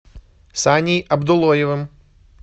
саней абдуллоевым